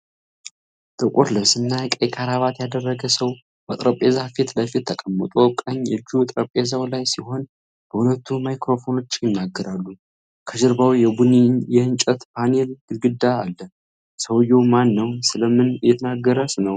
ጥቁር ልብስና ቀይ ክራባት ያደረገ ሰው በጠረጴዛ ፊት ለፊት ተቀምጦ፣ ቀኝ እጁ ጠረጴዛው ላይ ሲሆን በሁለቱ ማይክራፎኖች ይናገራል። ከጀርባው የቡኒ የእንጨት ፓኔል ግድግዳ አለ። ሰውዬው ማን ነው? ስለ ምን እየተናገረ ነው?